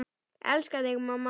Elska þig, mamma.